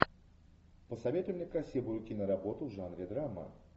посоветуй мне красивую киноработу в жанре драма